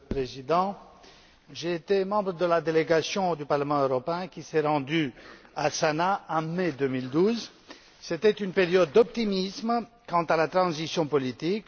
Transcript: Monsieur le Président, j'ai été membre de la délégation du Parlement européen qui s'est rendue à Sanaa en mai 2012 c'était une période d'optimisme quant à la transition politique.